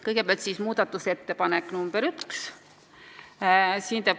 Kõigepealt muudatusettepanek nr 1.